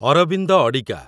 Arvind Adiga